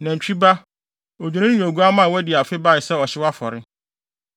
nantwi ba, odwennini ne oguamma a wɔadi afe bae sɛ ɔhyew afɔre,